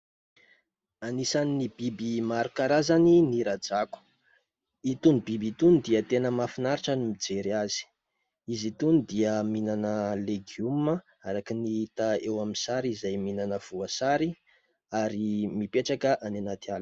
Anisan'ny biby maro karazany ny rajako. Itony biby itony dia tena mahafinaritra ny mijery azy; izy itony dia mihinana legioma araka ny hita eo amin'ny sary izay mihinana voasary ary mipetraka any anaty ala.